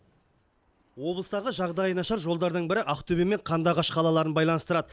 облыстағы жағдайы нашар жолдардың бірі ақтөбе мен қандыағаш қалаларын байланыстырады